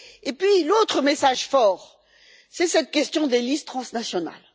Puis, l'autre message fort, c'est cette question des listes transnationales.